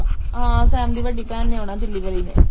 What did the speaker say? ਹਾਂ ਸੈਮ ਦੀ ਵੱਡੀ ਭੈਣ ਨੇ ਆਉਣਾ ਦਿੱਲੀ ਵਾਲੀ ਨੇ